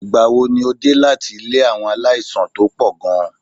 Ìgbà wo ni o dé láti ilé àwọn aláìsàn tó pọ̀ gan-an?